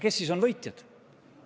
Kes siis on võitjad?